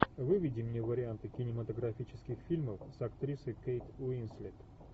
выведи мне варианты кинематографических фильмов с актрисой кейт уинслет